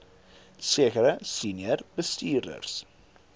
sekere senior bestuurders